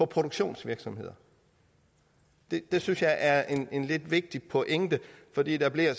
produktionsvirksomheder det synes jeg er en lidt vigtig pointe fordi der blev